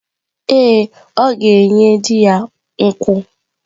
Ee, ọ ga-enye di ya nkwụ.